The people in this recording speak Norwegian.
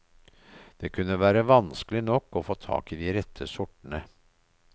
Det kunne være vanskelig nok å få tak i de rette sortene.